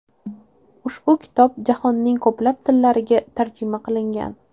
Ushbu kitob jahonning ko‘plab tillariga tarjima qilingan.